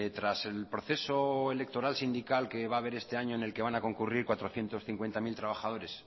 tras el proceso electoral sindical que va a haber este año en el que van a concurrir cuatrocientos cincuenta mil trabajadores